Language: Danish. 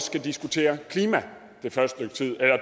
skal diskutere klima